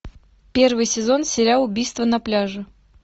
первый сезон сериал убийство на пляже